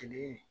Tile